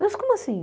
Mas como assim?